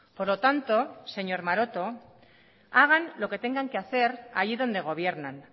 por lo tanto señor maroto hagan lo que tengan que hacer allí donde gobiernan